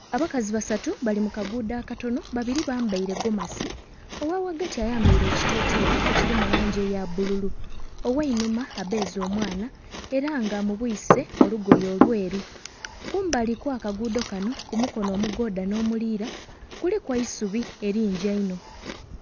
Abakazi basatu bali mu kaguudo akatono, babiri bambaire gomasi ogha ghagati ayambaire ekiteteeyi ekiri mu langi eya bbululu, ogh'einhuma abbeeze omwaana era nga amubwise olugoye olweru. Kumbali kw'akaguudo kanho ku mukono omugoodha n'omulira kuliku eisubi elingi einho.